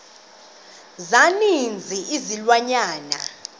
za ninzi izilwanyana